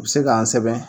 U bɛ se k'an sɛgɛn